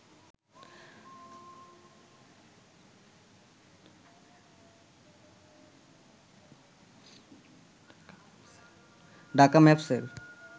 Dhaka ম্যাপস'র